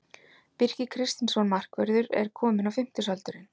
Birkir Kristinsson markvörður er kominn á fimmtugsaldurinn.